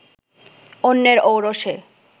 অন্যের ঔরসে